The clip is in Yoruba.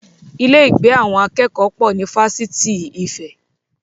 Ilé ìgbé àwọn akẹ́kọ̀ọ́ pọ̀ ní Fáṣitì Ife